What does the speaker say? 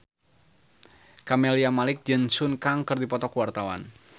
Camelia Malik jeung Sun Kang keur dipoto ku wartawan